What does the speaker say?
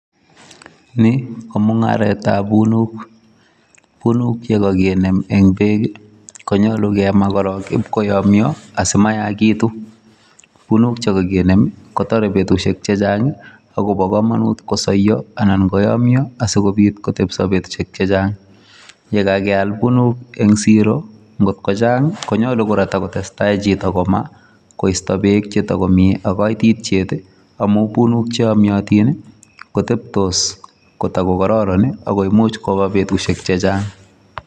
Ni ko mung'aretab unuk. Unuk che koginem en beek konyolu kema korong ibkoyomnyo asimayaagitu. Unuk che koginem kotore betushek chechang agobo komonut kosoiyo anan koyomnyo asikobit kotepche betushek chechang. Ye kageal unuk en siro ngot ko chnag ii konyolu kora kotagotestai chito komaa koisto beek chetogomi ak koitityet amun unuk che yomnyotin koteptos kotogokororon ago imuch koba betushek chechang.